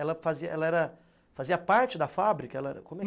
Ela fazia ela era fazia parte da fábrica ela